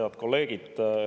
Head kolleegid!